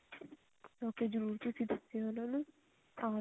ਹਾਂਜੀ ਜਰੁਰ ਤੁਸੀਂ ਦੱਸਿਓ ਉਹਨਾ ਨੂੰ